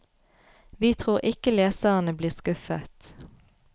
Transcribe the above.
Vi tror ikke leserne blir skuffet.